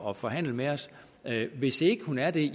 at forhandle med os hvis ikke hun er det er